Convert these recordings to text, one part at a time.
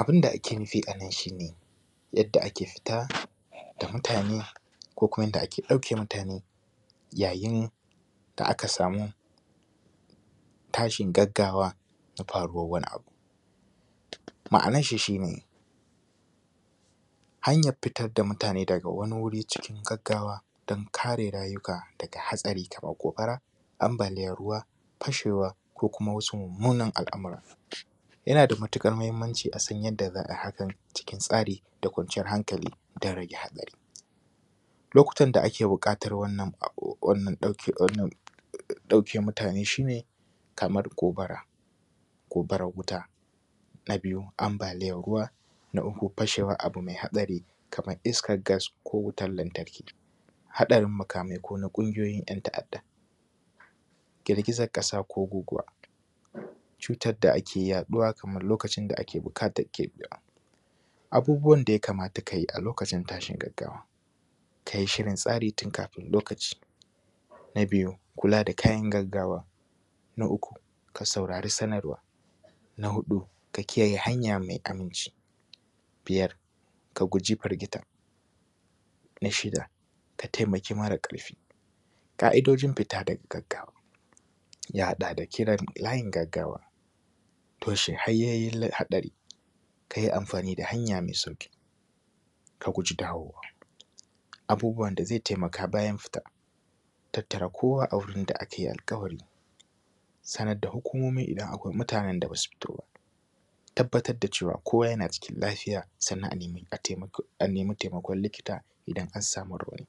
Abunda ake nufi anan shine yadda ake fita da mutane ko kuma yadda ake ɗauke mutane yayin da aka samu tashin gaggawa na faruwar wani abu ma’anan shi shine hanyar fitar da mutane daga wani wuri cikin gaggawa don kare rayuka daga hatsari kamar gobara, ambaliyan ruwa, pashewa ko kuma wasu mummunan al’amura. Yana da matuƙar mahimmanci asan yanda za’a hakan cikin tsari da kwanciyar hankali dan rage hatsari. Lokutan da ake buƙatar wannan wannan ɗauke wannan ɗauke mutane shine kamar gobara gobara wuta. Na biyu ambaliyan ruwa. Na uku pashewan abu mai haɗari kamar iskar gas ko wutan lantarki. Haɗarin makamai kona ƙungiyoyin yan ta’adda, girgizan ƙasa ko guguwa, cutan da ake yaɗuwa kamar lokacin da ake bukatan. Abubuwan da ya kamata kayi a lokacin tashin gaggawa; kayi shirin tsari tun kafin lokaci. Na biyu kula da kayan gaggawa. Na uku ka saurari sanarwa. Na huɗu ka kiyaye hanya mai aminci. Biyar ka guji pirgita. Na shida ka taimaki mara ƙarfi. Ƙa’idojin fita da gaggawa; ya haɗa da kiran layin gaggawa, toshe hanyoyin la haɗari, kayi amfani da hanya mai sauƙi ka guji dawowa. Abubuwan da zai taimaka bayan fita; tattara kowa a wurin da akayi alƙawari, sanar da hukumomi idan akwai mutanen da basu fito ba, tabbatar da cewa kowa yana cikin lafiya sannan a nemi a taimako a nemi taimakon likita idan an samu rauni.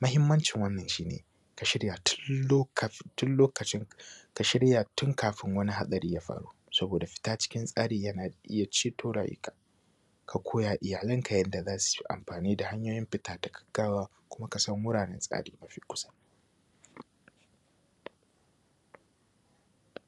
Mahimmancin wannan shine; ka shirya tun lo kaf tun lokacin ka shirya tun kafin wani haɗari ya faru saboda fita cikin tsari yana iya ceto rayuka ka koya iyalanka yadda zasuyi amfani da hanyoyin fita da gaggawa kuma kasan wuraren tsari mafi kusa.